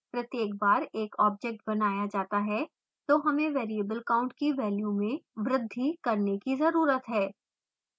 प्रत्येक बार एक object बनाया जाता है तो हमें variable count की value में वृद्धि करने की जरूरत है